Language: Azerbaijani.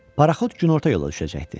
Paraxod günorta yola düşəcəkdi.